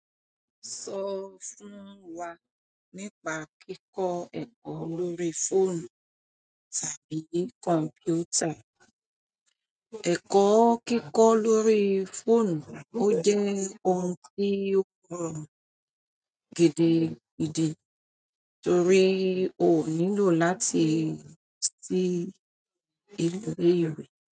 Sọ fún wa nípa kíkọ ẹ̀kọ́ lórí fóònù tàbí kọ̀mpútà. Ẹ̀kọ́ kíkọ́ lórí fóònù ó jẹ́ ohun tí ó gbòòrò gidigidibtorí o nílò láti lo ṣí ile ìwé.